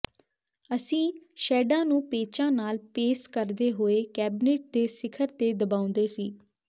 ਅਸੀਂ ਸ਼ੈਡਾਂ ਨੂੰ ਪੇਚਾਂ ਨਾਲ ਪੇਸ ਕਰਦੇ ਹੋਏ ਕੈਬਨਿਟ ਦੇ ਸਿਖਰ ਤੇ ਦਬਾਉਂਦੇ ਸੀ